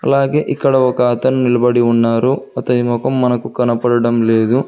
అలాగే ఇక్కడ ఒక అతను నిలబడి ఉన్నారు అతని మొఖం మనకు కనపడటం లేదు.